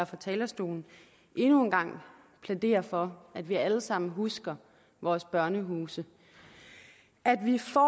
fra talerstolen endnu en gang plædere for at vi alle sammen husker vores børnehuse at vi får